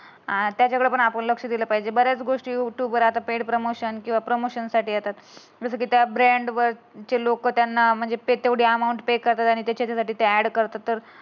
आता आपण तेवढा आपण लक्ष दिलं पाहिजे. बऱ्याच गोष्टी युट्युबवर आता पेड प्रमोशन किंवा प्रमोशन साठी येतात. जसं की त्या ब्रँड वर ते लोक त्यांना म्हणजे तेवढी अमाऊंट ते करतात आणि त्याच्यासाठी ती ऍड करतात.